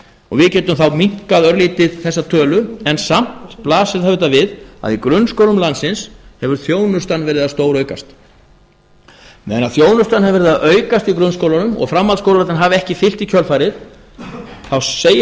og við getum þá minnkað örlítið bera tölu en samt blasir það auðvitað við að í grunnskólum landsins hefur þjónustan verið að stóraukast meðan þjónustan hefur verið að aukast í grunnskólunum og framhaldsskólarnir hafa ekki fylgt í kjölfarið segir það